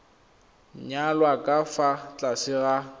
nyalwa ka fa tlase ga